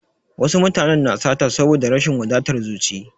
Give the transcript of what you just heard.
Wasu mutanen na sata saboda da rashin wadatar zuci.